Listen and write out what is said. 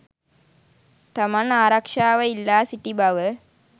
තමන් ආරක්ෂාව ඉල්ලා සිටි බව